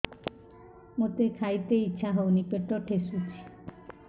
ମୋତେ ଖାଇତେ ଇଚ୍ଛା ହଉନି ପେଟ ଠେସୁଛି